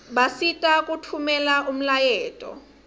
basisita kutfumela umlayeto